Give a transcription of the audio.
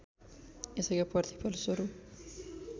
यसैको प्रतिफल स्वरूप